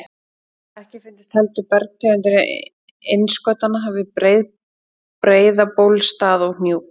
Ekki fundust heldur bergtegundir innskotanna við Breiðabólsstað og Hnjúk.